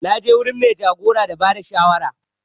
Na je wurin mai jagora da bada shawara